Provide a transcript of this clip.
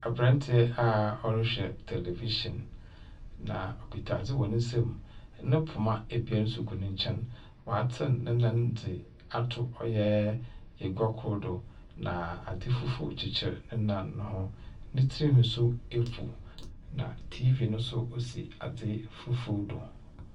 Aberantsɛ a ɔrehwɛ television. Na okita adze wɔ ne nsamu. No poma ebien nso gu ne nkyɛn. Ɔatsen ne nan dze ato ɔyɛ egua kor do. Na adze fufuw kyekyer ne nan no ho. Ne tsirnhwi nso efw, na TV no nso si adze fufuw do.